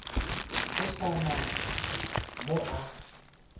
go sa na mo a